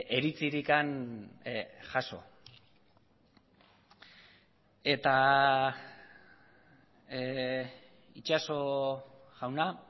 iritzirik jaso eta itxaso jauna